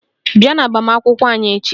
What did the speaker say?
Bịa n'agbamakwụkwọ anyị echi!